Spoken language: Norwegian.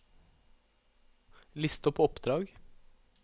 list opp oppdrag